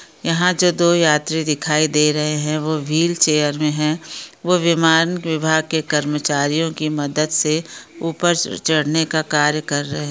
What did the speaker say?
यहां जो दो यात्री दिखाई दे रहे है वो व्हील चेयर में है वो विमान विभाग के कर्मचारियो की मदद से ऊपर च-चढ़ने का कार्य कर रहे।